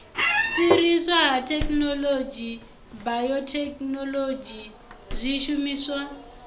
fhiriswa ha thekhinolodzhi bayothekhinolodzhi zwishumiswa